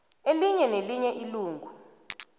elinye nelinye ilungu